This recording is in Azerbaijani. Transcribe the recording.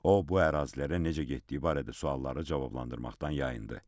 O bu ərazilərə necə getdiyi barədə suallara cavablandırmaqdan yayındı.